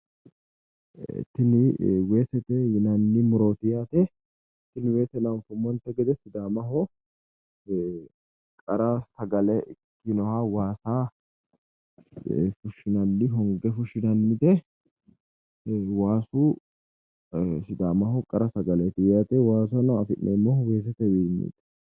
Tini weesete yinanni murooti anfummonte gede sidaamaho qara sagale ikkinoha waasa honge fushinannite waasu sidaamaho qara sagaleeti yaate waasano afi'neemmohu weesetewiinniiti